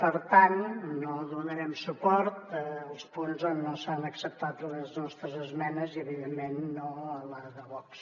per tant no donarem suport als punts on no s’han acceptat les nostres esmenes i evidentment no a la de vox